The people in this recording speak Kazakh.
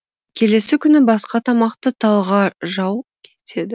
келесі күні басқа тамақты талғажау етеді